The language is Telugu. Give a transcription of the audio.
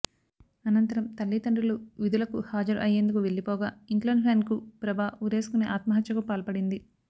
అనంతరం తల్లిదండ్రులు విధులకు హాజరు అయ్యేందుకు వెళ్లిపోగా ఇంట్లోని ఫ్యాన్కు ప్రభ ఉరేసుకొని ఆత్మహత్యకు పాల్పడింది